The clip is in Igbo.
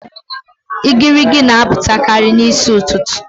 Igirigi n'apụtakarị n'isi ụtụtụ